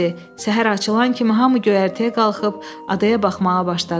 Səhər açılan kimi hamı göyərtəyə qalxıb adaya baxmağa başladı.